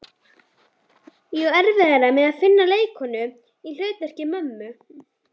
Ég á erfiðara með að finna leikkonu í hlutverk mömmu.